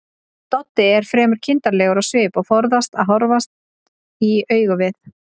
Doddi er fremur kindarlegur á svip og forðast að horfast í augu við